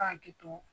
Ka hakili to